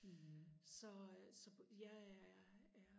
så så jeg er er